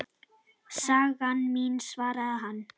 Sagan mín, svarar hann.